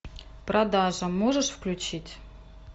продажа можешь включить